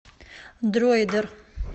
дроидер